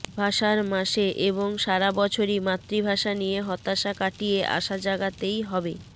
ভাষার মাসে এবং সারা বছরই মাতৃভাষা নিয়ে হতাশা কাটিয়ে আশা জাগাতেই হবে